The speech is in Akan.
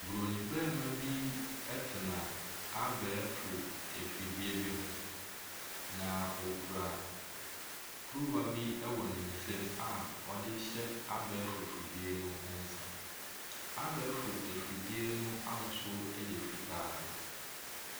Buroni barima bi tena abɛɛfo afidie bi ho na ɔkura kuruwa bi wɔ ne nsam a ɔde rehyɛ abɛɛfo fidie no nsa. Abɛɛfo afidie no ahosuo yɛ fitaa.